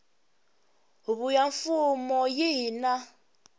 huvo ya mfumo yihi na